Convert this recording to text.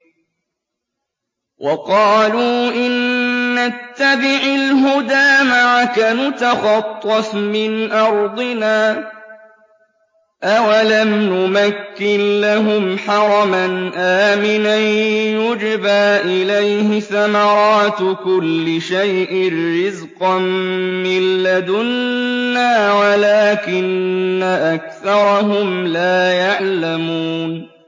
وَقَالُوا إِن نَّتَّبِعِ الْهُدَىٰ مَعَكَ نُتَخَطَّفْ مِنْ أَرْضِنَا ۚ أَوَلَمْ نُمَكِّن لَّهُمْ حَرَمًا آمِنًا يُجْبَىٰ إِلَيْهِ ثَمَرَاتُ كُلِّ شَيْءٍ رِّزْقًا مِّن لَّدُنَّا وَلَٰكِنَّ أَكْثَرَهُمْ لَا يَعْلَمُونَ